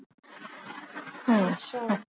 ਹਮ